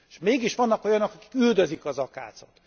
Mégis vannak olyanok, akik üldözik az akácot.